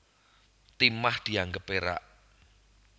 Timah dianggep perak